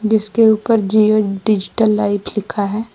जिसके ऊपर Jio digital life लिखा है।